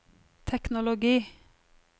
teknologi